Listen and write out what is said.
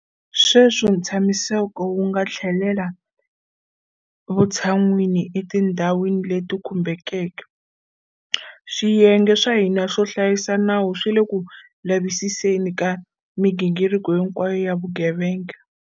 Sweswi ntshamiseko wu nga tlhelela vutshan'wini etindhwani leti khumbekeke, swiyenge swa hina swo hlayisa nawu swi le ku lavisiseni ka migingiriko hinkwayo ya vugevenga.